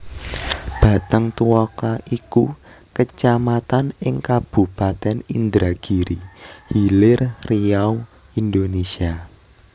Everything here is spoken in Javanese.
Batang Tuaka iku Kecamatan ing Kabupatèn Indragiri Hilir Riau Indonesia